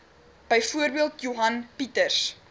byvoorbeeld johan pieters